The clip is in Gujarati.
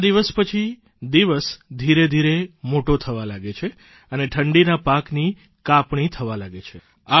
આ દિવસ પછી દિવસ ધીરેધીરે મોટો થવા લાગે છે અને ઠંડીના પાકની કાપણી થવા લાગે છે